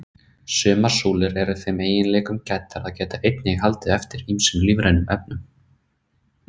Sumar súlur eru þeim eiginleikum gæddar að geta einnig haldið eftir ýmsum lífrænum efnum.